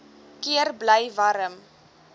keer bly warm